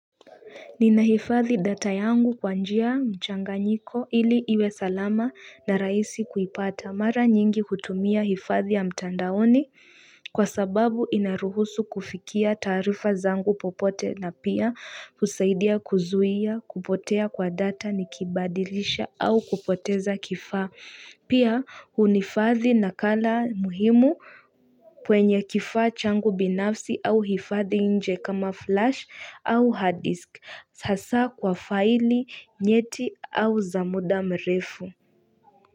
Nina hifadhi data yangu kwanjia mchanga nyiko ili iwe salama na raisi kuipata mara nyingi kutumia hifadhi ya mtandaoni kwa sababu inaruhusu kufikia taarifa zangu popote na pia usaidia kuzuia kupotea kwa data nikibadilisha au kupoteza kifaa. Pia unifadhi na kala muhimu kwenye kifaa changu binafsi au hifadhi nje kama flash au hard disk hasa kwa faili nyeti au zamuda mrefu.